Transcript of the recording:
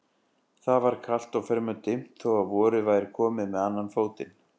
Það var kalt og fremur dimmt þó að vorið væri komið með annan fótinn.